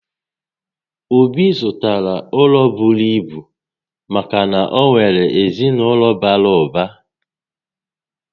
Obi zụtara ụlọ bụrụ ibu maka na o nwèrè ezinaụlọ bàrà ụba